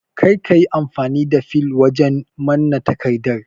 Kar ka yi amfani da fil wajen manna takardar